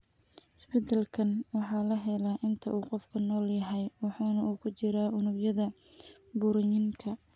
Isbeddelkan waxa la helaa inta uu qofku nool yahay waxana uu ku jiraa unugyada burooyinka.